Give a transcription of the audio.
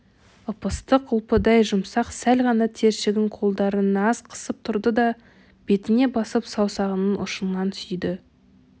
ып-ыстық ұлпадай жұмсақ сәл ғана тершіген қолдарын аз қысып тұрды да бетіне басып саусағының ұшынан сүйді